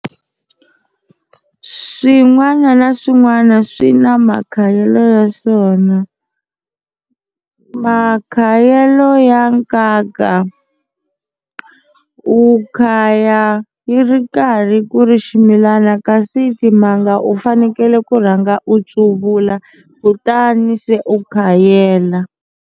Swin'wana na swin'wana swi na makhayelo ya swona makhayelo ya nkaka u khaya yi ri karhi ku ri ximilana kasi timanga u fanekele ku rhanga u tsuvula kutani se u khayela.